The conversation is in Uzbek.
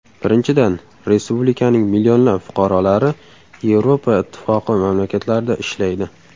Birinchidan, respublikaning millionlab fuqarolari Yevropa ittifoqi mamlakatlarida ishlaydi.